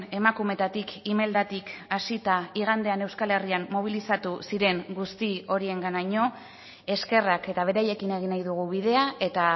emakumetatik imeldatik hasita igandean euskal herrian mobilizatu ziren guzti horienganaino eskerrak eta beraiekin egin nahi dugu bidea eta